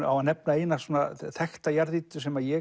á að nefna eina þekkta jarðýtu sem ég